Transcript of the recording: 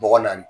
Bɔgɔ naani